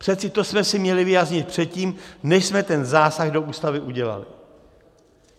Přece to jsme si měli vyjasnit předtím, než jsme ten zásah do Ústavy udělali.